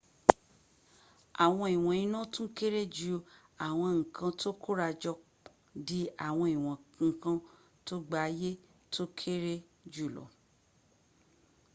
àwọn ìwọn iná tún kéré ju àwọn n´ kan tó kórajọ di àwọn ìwọn nkan tó gba àyè tó kéré jùlọ